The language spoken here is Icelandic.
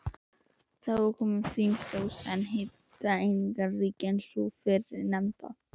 Þá er komin fín sósa en hitaeiningaríkari en sú fyrrnefnda.